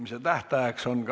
Istungi lõpp kell 13.28.